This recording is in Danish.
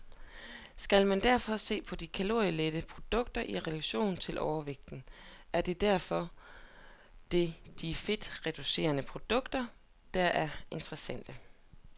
Skal man derfor se på kalorielette produkter i relation til overvægt, er det de fedtreducerede produkter, der er interessante.